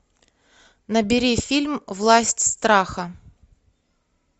набери фильм власть страха